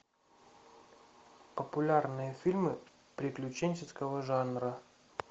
популярные фильмы приключенческого жанра